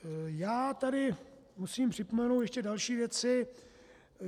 Já tu musím připomenout ještě další věci.